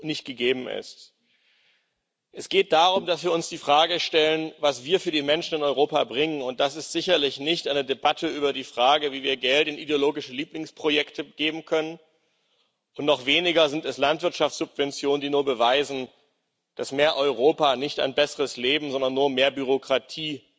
nicht gegeben ist. Es geht darum, dass wir uns die Frage stellen, was wir für die Menschen in Europa bringen, und das ist sicherlich nicht eine Debatte über die Frage, wie wir Geld in ideologische Lieblingsprojekte geben können, und noch weniger sind es Landwirtschaftssubventionen, die nur beweisen, dass mehr Europa nicht ein besseres Leben, sondern nur mehr Bürokratie